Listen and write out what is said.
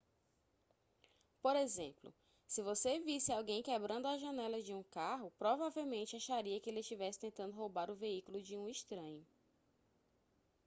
por exemplo se você visse alguém quebrando a janela de um carro provavelmente acharia que ele estivesse tentando roubar o veículo de um estranho